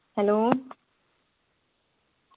hello